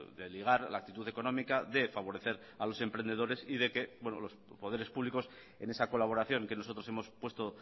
de ligar la actitud económica de favorecer a los emprendedores y de que los poderes públicos en esa colaboración que nosotros hemos puesto